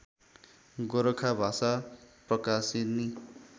गोरखा भाषा प्रकाशिनी